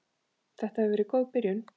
Þetta hefur verið góð byrjun.